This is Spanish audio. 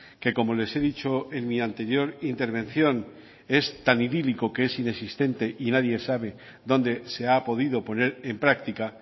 que como les he dicho en mi anterior intervención es tan idílico que es inexistente y nadie sabe dónde se ha podido poner en práctica